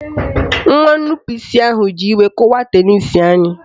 Nwa nnupụisi isi ahụ ji iwe kụwaa tenisi anyị